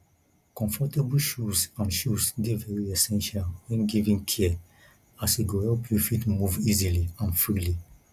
comfortable shoes and shoes de very essential when giving care as e go help you fit move easily and freely